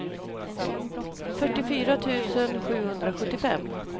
fyrtiofyra tusen sjuhundrasjuttiofem